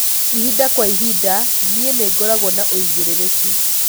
ĩhĩnda kwa ĩhĩnda nii ningoragwo na uigiririki